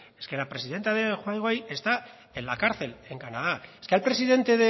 es que la presidenta de huawei está en la cárcel en canadá es que al presidente